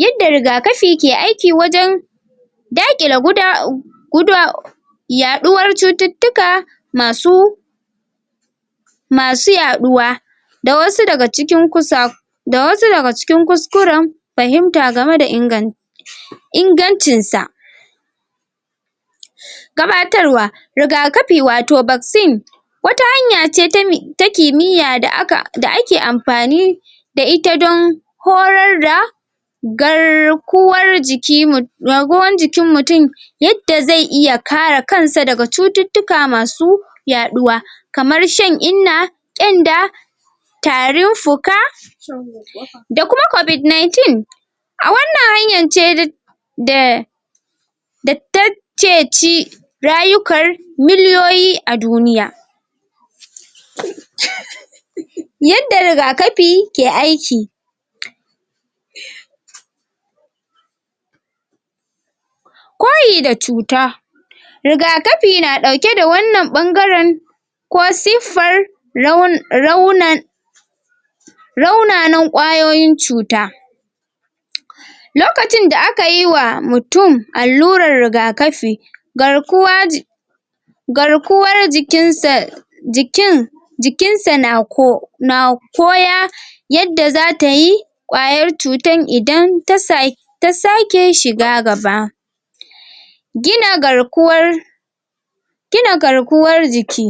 Yanda rigakafi ke aiki wajen daƙila guda guda yaɗuwar cutattuka masu ma su yaɗuwa da wasu daga cikin kusa da wasu daga cikin kuskuren fahimta game da ingan ingancin sa gabatarwa rigakafi wato vaccine wata hanya ce ta kimiyya da aka da ake amfani da ita don korar da garkuwar jiki mu garkuwan jikin mutum yadda zai iya kare kansa daga cututtuka masu yaɗuwa kamar shan inna ƙyanda tarin fuka da kuma covid ninteen a wannan hanyan ce da da take ci rayukan miliyoyi a duniya yanda rigakafi ke aiki koyi da cuta rigakafi na ɗauke da wannan ɓangaren ko siffar raunan rauna raunanan kwayoyin cuta lokacin da aka yi wa mutum allurar rigakafi garkuwa ji garkuwar jikin sa jikin jikin sa na ko na koya yadda za tayi kwayar cutar idan ta sa ta sake shiga gaba gina garkuwar gina garkuwar jiki